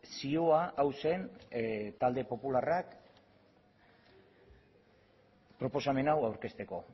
zioa hau zen talde popularrak proposamen hau aurkezteko